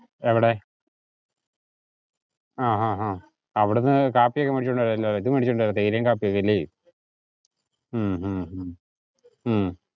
എവിടെ? ആഹ് ആഹ് ആഹ് അവിടുന്ന് കാപ്പി ഒക്കെ മേടിച്ചോണ്ട് വരാല്ലോ ഇത് മേടിച്ചോണ്ടു വരാം തേയിലേം കാപ്പിയും ഒക്കെ ഇല്ലേ. ഹും ഹും ഹും